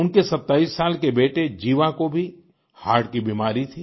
उनके 27 साल के बेटे जीवा को भी हर्ट की बीमारी थी